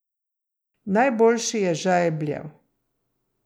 Najboljši je žajbljev.